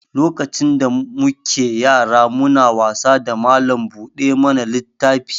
Lokacin da mu ke yara mu na wasa da mallam buɗe mana littafi.